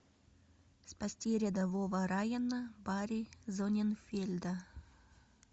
спасти рядового райана барри зонненфельда